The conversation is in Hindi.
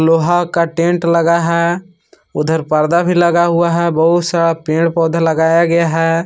लोहा का टेंट लगा है उधर पर्दा भी लगा हुआ है बहुत सा पेड़ पौधा भी लगाया गया है।